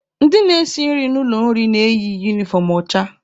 Ndị na-esi nri n'ụlọ nri na-eyi unifọm ọcha.